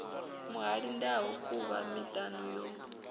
muhali ndau khuvha miṱana yo